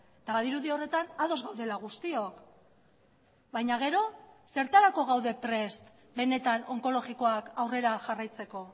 eta badirudi horretan ados gaudela guztiok baina gero zertarako gaude prest benetan onkologikoak aurrera jarraitzeko